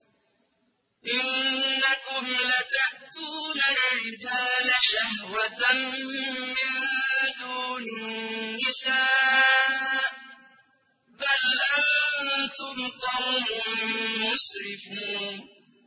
إِنَّكُمْ لَتَأْتُونَ الرِّجَالَ شَهْوَةً مِّن دُونِ النِّسَاءِ ۚ بَلْ أَنتُمْ قَوْمٌ مُّسْرِفُونَ